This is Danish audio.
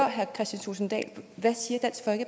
herre kristian thulesen dahl en